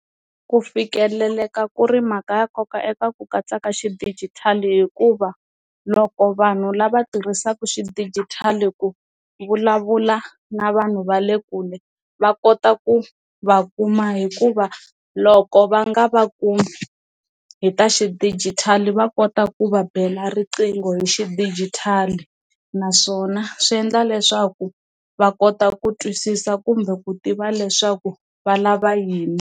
Ku fikeleleka ku ri mhaka ya nkoka eka ku katsa ka xidigitali hikuva loko vanhu lava tirhisaku xidigitali ku vulavula na vanhu va le kule va kota ku va kuma hikuva loko va nga va kumi hi ta xidigitali va kota ku va bela riqingho hi xidigitali naswona swi endla leswaku va kota ku twisisa kumbe ku tiva leswaku va lava yini.